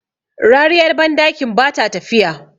rariyar bandakin ba ta tafiya